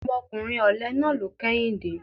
Ọmọkùnrin ọ̀lẹ náà ló kẹ́yìn dé.